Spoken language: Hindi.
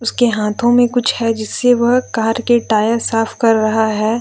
उसके हाथों में कुछ है जिससे वह कार के टायर साफ कर रहा है।